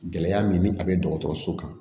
Gɛlɛya min ni a bɛ dɔgɔtɔrɔso kan